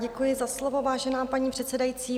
Děkuji za slovo, vážená paní předsedající.